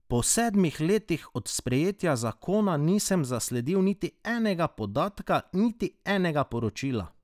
Po sedmih letih od sprejetja zakona nisem zasledil niti enega podatka, niti enega poročila!